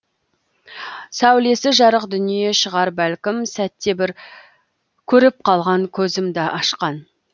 сәулесі жарық дүние шығар бәлкім сәтте бір көріп қалған көзімді ашқан